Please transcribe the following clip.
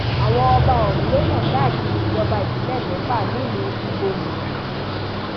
àwọn ọba ọhún ló yàn káàkiri ìjọba ìbílẹ mẹfà nílùú ibodàn